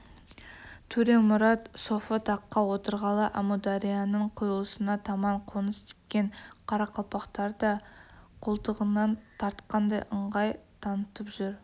төремұрат софы таққа отырғалы әмударияның құйылысына таман қоныс тепкен қарақалпақтарда қолтығынан тартқандай ыңғай танытып жүр